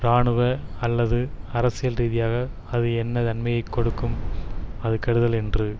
இராணுவ அல்லது அரசியல் ரீதியாக அது என்ன நன்மையை கொடுக்கும் அது கெடுதல் என்று